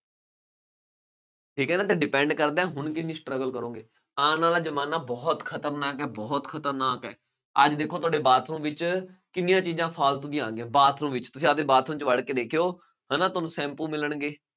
ਠੀਕ ਹੈ ਨਾ ਅਤੇ depend ਕਰਦਾ ਹੁਣ ਕਿੰਨੀ struggle ਕਰੋਗੇ। ਆਉਣ ਵਾਲਾ ਜ਼ਮਾਨਾ ਬਹੁਤ ਖਤਰਨਾਕ ਹੈ, ਬਹੁਤ ਖਤਰਨਾਕ ਹੈ, ਅੱਜ ਦੇਖੋ ਤੁਹਾਡੇ bathroom ਵਿੱਚ ਕਿਂੰਨੀਆਂ ਚੀਜ਼ਾਂ ਫਾਲਤੂ ਦੀਆਂ ਆ ਗਈਆਂ, bathroom ਵਿੱਚ, ਤੁਸੀਂ ਆਪਦੇ bathroom ਵਿੱਚ ਵੜ੍ਹ ਕੇ ਦੇਖਉ, ਹੈ ਨਾ, ਤੁਹਾਨੂੰ ਸੈਂਪੂ ਮਿਲਣਗੇ,